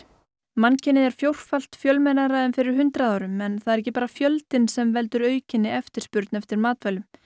mannkynið er fjórfalt fjölmennara en fyrir hundrað árum en það er ekki bara fjöldinn sem veldur aukinni eftirspurn eftir matvælum